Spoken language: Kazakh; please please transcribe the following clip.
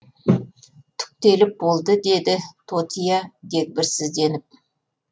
түктеліп болды деді тотия дегбірсізденіп